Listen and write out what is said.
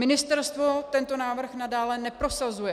Ministerstvo tento návrh nadále neprosazuje.